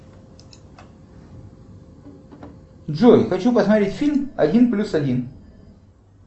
джой хочу посмотреть фильм один плюс один